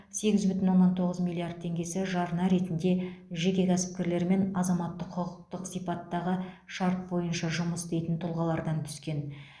сегіз бүтін оннан тоғыз миллиард теңгесі жарна ретінде жеке кәсіпкерлер мен азаматтық құқықтық сипаттағы шарт бойынша жұмыс істейтін тұлғалардан түскен